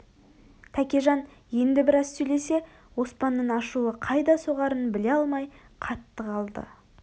тәкежан енді біраз сөйлесе оспанның ашуы қайда соғарын біле алмай қатты қалды